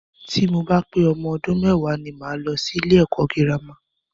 Tí mo bá pé ọmọ ọdún mẹ́wàá ni mo máa lọ sí ilé ẹ̀kọ́ girama.